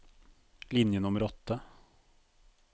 Linje nummer åtte